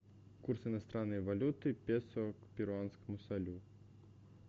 курс иностранной валюты песо к перуанскому солю